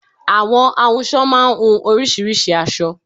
Àwọn ahunsọ máá ń hun oríṣiríṣìí aṣọ